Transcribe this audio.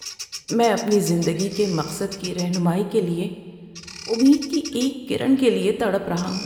میں اپنی زندگی کے مقصد کی رہنمائی کے لیے امید کی ایک کرن کے لیے تڑپ رہا ہوں۔